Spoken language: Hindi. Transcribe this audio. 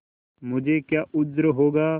मुझे क्या उज्र होगा